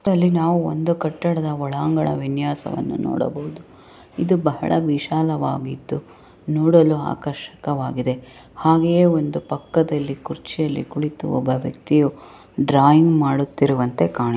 ಈ ಚಿತ್ರದಲ್ಲಿ ಒಂದು ಕಟ್ಟಡದ ಒಳಾಂಗಣದ ವಿನ್ಯಾಸವನ್ನು ನೋಡಬಹುದು ಇದು ಬಹಳ ವಿಶಾಲವಾಗಿತ್ತು ನೋಡಲು ಆರ್ಕಷಕವಾಗಿದೆ ಹಾಗೆ ಒಂದು ಪಕ್ಕದಲ್ಲಿ ಕುರ್ಚಿಯಲ್ಲಿ ಕುಳಿತು ಒಬ್ಬ ವ್ಯಕ್ತಿಯು ಡ್ರಾಯಿಂಗ್‌ ಮಾಡುತ್ತಿರುವಂತೆ ಕಾಣಿ